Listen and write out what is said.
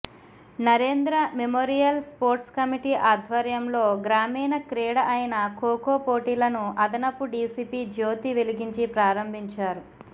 Narendra memorial sports committee ఆద్వర్యంలో గ్రామీణ క్రీడ అయిన ఖోఖో పోటీలను అదనపు డిసిపి జ్యోతి వెలిగించి ప్రారంభించారు